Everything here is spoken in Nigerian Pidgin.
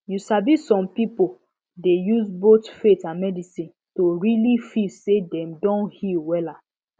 you sabi some pipo dey use both faith and medicine to really feel say dem don heal wahala